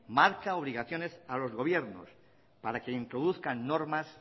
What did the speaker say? marca obligaciones a los gobiernos para que introduzcan normas